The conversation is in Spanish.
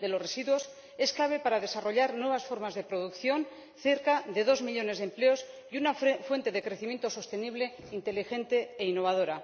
de los residuos es clave para desarrollar nuevas formas de producción, cerca de dos millones de empleos y una fuente de crecimiento sostenible, inteligente e innovadora.